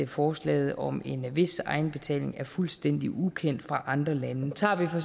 forslaget om en vis egenbetaling er fuldstændig ukendt fra andre lande tager vi for